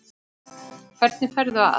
Hvernig ferðu að?